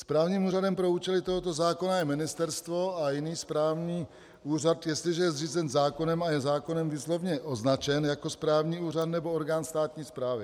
Správním úřadem pro účely tohoto zákona je ministerstvo a jiný správní úřad, jestliže je zřízen zákonem a je zákonem výslovně označen jako správní úřad nebo orgán státní správy.